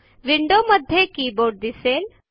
window मध्ये keyboard दिसेल